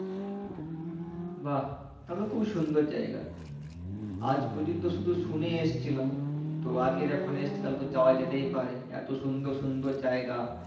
বাহ তাহলে তো খুবই সুন্দর জায়গা আজ পর্যন্ত শুধু শুনেই এসেছিলাম তো আজকে যখন এসেছি তাহলে তো যাওয়া যেতেই পারে এতো সুন্দর সুন্দর জায়গা